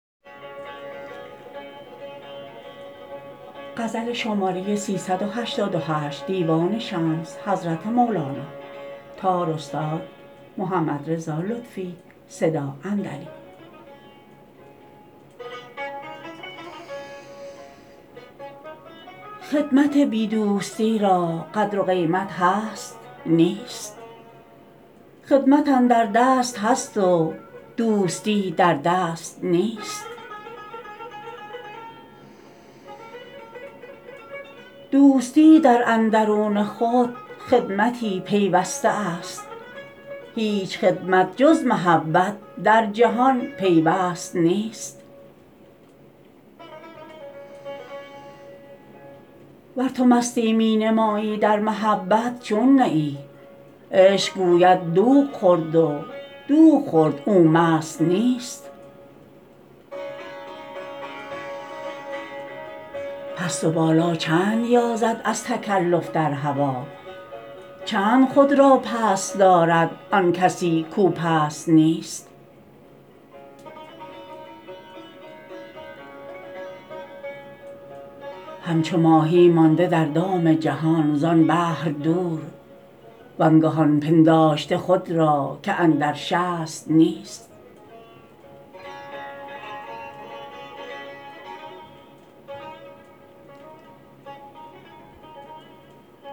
خدمت بی دوستی را قدر و قیمت هست نیست خدمت اندر دست هست و دوستی در دست نیست دوستی در اندرون خود خدمتی پیوسته است هیچ خدمت جز محبت در جهان پیوست نیست ور تو مستی می نمایی در محبت چون نه ای عشق گوید دوغ خورد و دوغ خورد او مست نیست پست و بالا چند یازد از تکلف در هوا چند خود را پست دارد آن کسی کو پست نیست همچو ماهی مانده در دام جهان زان بحر دور وانگهان پنداشته خود را که اندر شست نیست